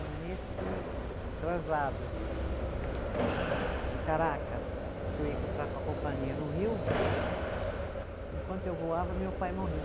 Mas nesse translado de Caracas, que eu ia encontrar com a companhia no Rio, enquanto eu voava, meu pai morreu.